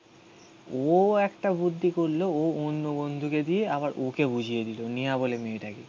ও একটা বুদ্ধি করলো ও অন্য বন্ধুকে দিয়ে আবার ওকে বুঝিয়ে দিলো. নেহা বলে মেয়েটাকে.